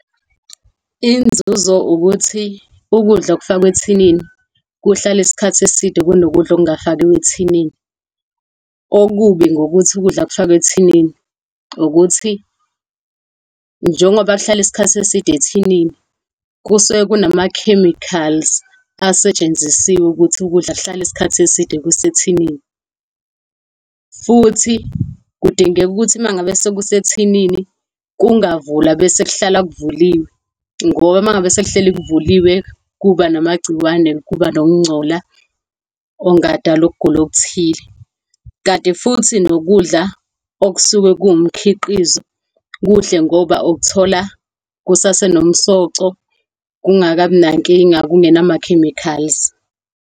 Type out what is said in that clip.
Inzuzo ukuthi ukudla okufakwe ethinini kuhlala isikhathi eside kunokudla okungafakiwe ethinini. Okubi ngokuthi ukudla kufakwe ethinini ukuthi njengoba kuhlale isikhathi eside ethinini, kusuke kunama-chemicals asetshenzisiwe ukuthi ukudla kuhlale isikhathi eside kusethinini. Futhi kudingeka ukuthi uma ngabe sekusemathinini kungavulwa bese kuhlala kuvuliwe ngoba uma ngabe sekuhleli kuvuliwe kuba namagciwane kuba nokungcola okungadala ukugula okuthile. Kanti futhi nokudla okusuke kuwumkhiqizo kuhle ngoba ukuthola kusasenomsoco, kungakabi nankinga, kungenama-chemicals.